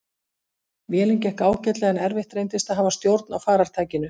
Vélin gekk ágætlega en erfitt reyndist að hafa stjórn á farartækinu.